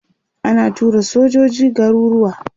ana tura sojoji garuruwa